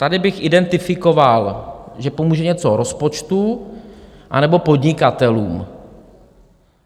Tady bych identifikoval, že pomůže něco rozpočtu anebo podnikatelům.